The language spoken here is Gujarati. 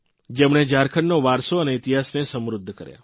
જેમણે ઝારખંડનો વારસો અને ઇતિહાસને સમૃદ્ધ કર્યા